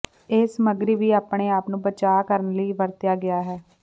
ਇਹ ਸਮੱਗਰੀ ਵੀ ਆਪਣੇ ਆਪ ਨੂੰ ਬਚਾਅ ਕਰਨ ਲਈ ਵਰਤਿਆ ਗਿਆ ਹੈ